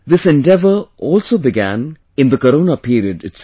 This endeavour also began in the Corona period itself